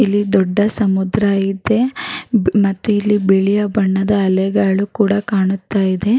ಇಲ್ಲಿ ದೊಡ್ಡ ಸಮುದ್ರ ಇದೆ ಬ್ ಮತ್ತೆ ಇಲ್ಲಿ ಬಿಳಿಯ ಬಣ್ಣದ ಅಲೆಗಳು ಕೂಡ ಕಾಣುತ್ತಾಯಿದೆ.